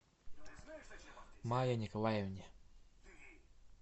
мае николаевне